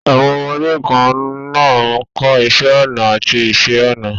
Àwọn ọmọdé kan náà ń kọ́ iṣẹ́ ọnà àti iṣẹ́ ọnà.